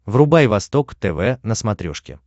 врубай восток тв на смотрешке